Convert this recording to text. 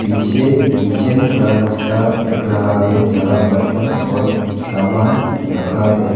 पीछे किचन का हिस्सा दिख रहा है जहां बर्तन और सामान रखा है।